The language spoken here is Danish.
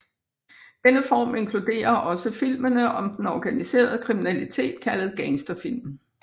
Denne form inkluderer også filmene om den organiserede kriminalitet kaldet gangsterfilm